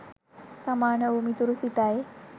සමාන වූ මිතුරු සිතයි.